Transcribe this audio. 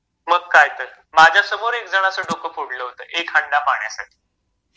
मग काय तर माझ्या समोर एक जणाच डोक फोडल होत एक हांडा पाण्यासाठी.